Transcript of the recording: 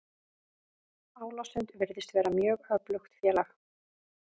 Álasund virðist vera mjög öflugt félag.